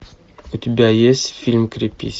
у тебя есть фильм крепись